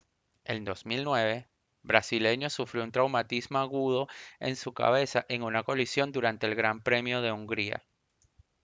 en 2009 brasileño sufrió un traumatismo agudo en su cabeza en una colisión durante el gran premio de hungría